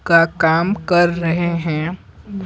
का काम कर रहे हैं।